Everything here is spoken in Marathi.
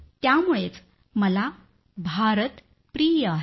त्यामुळंच मला भारत प्रिय आहे